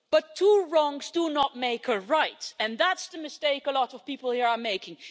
But two wrongs do not make a right, and that's the mistake a lot of people here are making.